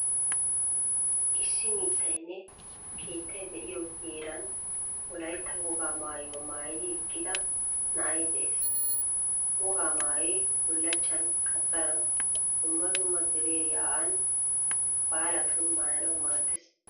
Issi mittaynne keettay de'iyoo heeran Wolaytta wogaa maayuwa maayidi eqqidida na'ay de'ees, Wogaa maayoy bullachchan, qaxxaran, dumma dumma dere yaa'an baalatun maayanawu maaddees.